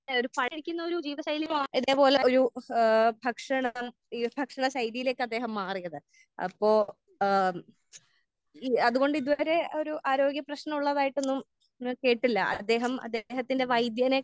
ഒരു ഒരു ജീവിതശൈലി ഏഹ് ഇതേ പോലെ ഒരു ഏഹ് ഭക്ഷണം ഈ ഭക്ഷണ ശൈലിയിലേക്ക് അദ്ദേഹം മാറിയതാണ്. അപ്പോ ഏഹ് അത് പോലെ ഇത് വരെ ഒരു ഏഹ് ആരോഗ്യ പ്രശ്നം ഉള്ളതായിട്ട് ന്നും ന്നും കേട്ടില്ല. അദ്ദേഹം അദ്ദേഹത്തിന്റെ വൈദ്യരെ